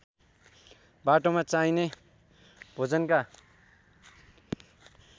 बाटोमा चाहिने भोजनका